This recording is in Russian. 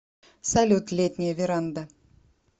салют летняя веранда